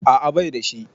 A'a baida shi